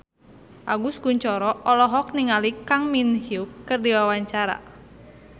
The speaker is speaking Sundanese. Agus Kuncoro olohok ningali Kang Min Hyuk keur diwawancara